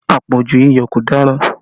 Àpọ̀jù iyọ̀ kò dára